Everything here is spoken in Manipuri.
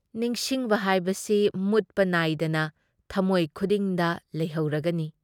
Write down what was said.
ꯅꯤꯡꯁꯤꯡꯕ ꯍꯥꯏꯕꯁꯤ ꯃꯨꯠꯄ ꯅꯥꯏꯗꯅ ꯊꯝꯃꯣꯏ ꯈꯨꯗꯤꯡꯗ ꯂꯩꯍꯧꯔꯒꯅꯤ ꯫